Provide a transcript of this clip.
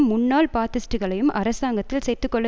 முன்னாள் பாத்திஸ்ட்டுகளையும் அரசாங்கத்தில் சேர்த்து கொள்ள